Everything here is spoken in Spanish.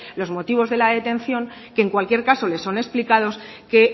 los motivos de la detención que en cualquier caso le son explicados que